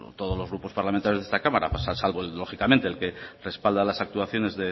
todos los grupos parlamentarios de esta cámara salvo lógicamente el que respalda las actuaciones